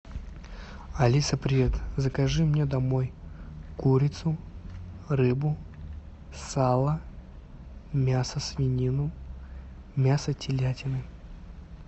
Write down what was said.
алиса привет закажи мне домой курицу рыбу сало мясо свинину мясо телятины